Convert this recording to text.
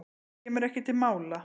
Kemur ekki til mála.